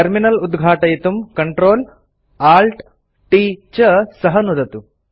terminal उद्घाटयितुं CTRL ALT T च सह नुदतु